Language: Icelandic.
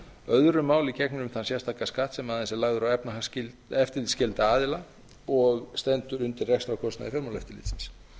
öðru máli gegnir um þann sérstaka skatt sem aðeins er lagður á eftirlitsskylda aðila og stendur undir rekstrarkostnaði fjármálaeftirlitsins